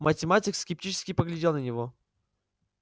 математик скептически поглядел на него